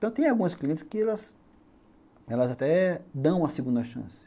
Então tem alguns clientes que elas até dão a segunda chance.